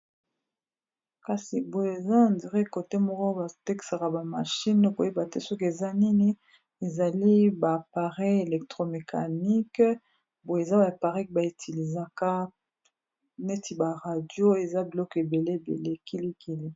kasi boye eza indirekote moko batekaka bamashine koyeba te soki eza nini ezali ba parec electromecanique boye eza ba aparec baitiliza kap neti ba radio eza biloke ebele belekilikili